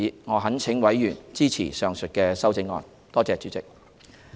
我懇請委員支持上述修正案。